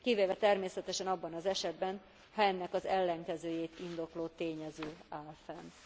Kivéve természetesen abban az esetben, ha ennek az ellenkezőjét indokoló tényező áll fent.